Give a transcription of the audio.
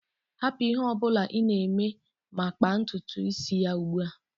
Hapụ ihe ọ bụla ị na-eme ma kpaa ntutu isi ya ugbu a!